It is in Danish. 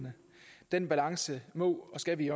den balance må og skal vi